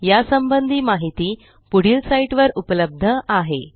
या संबंधी माहिती पुढील साईटवर उपलब्ध आहे